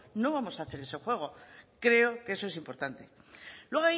no vamos a hacer ese juego creo que eso es importante luego